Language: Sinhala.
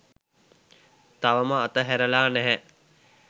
තවම අතහැරලා නැහැ.